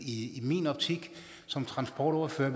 i min optik som transportordfører